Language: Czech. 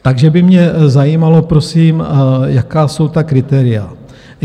Takže by mě zajímalo prosím, jaká jsou ta kritéria.